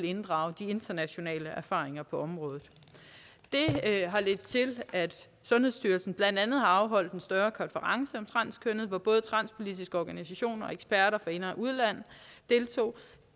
inddrage de internationale erfaringer på området det har ledt til at sundhedsstyrelsen blandt andet har afholdt en større konference om transkønnede hvor både transpolitiske organisationer og eksperter fra ind og udland deltog